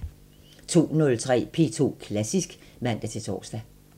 02:03: P2 Klassisk (man-tor)